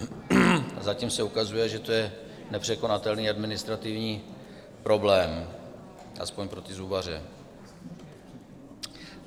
Zatím se ukazuje, že to je nepřekonatelný administrativní problém, aspoň pro ty zubaře.